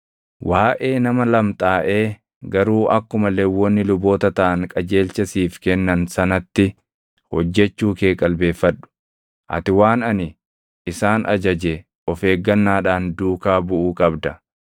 Waaʼee nama lamxaaʼee garuu akkuma Lewwonni luboota taʼan qajeelcha siif kennan sanatti hojjechuu kee qalbeeffadhu. Ati waan ani isaan ajaje of eeggannaadhaan duukaa buʼuu qabda.